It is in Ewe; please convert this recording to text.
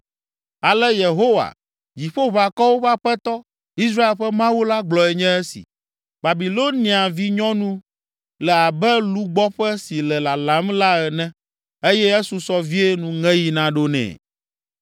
Ale Yehowa, Dziƒoʋakɔwo ƒe Aƒetɔ, Israel ƒe Mawu la gblɔe nye esi: “Babilonia vinyɔnu le abe lugbɔƒe si le lalam la ene; eye esusɔ vie nuŋeɣi naɖo nɛ.”